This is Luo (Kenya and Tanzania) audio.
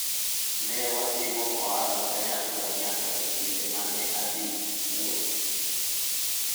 ne watimo ohala kanyakla nyaka e kinde mane adhi wuoth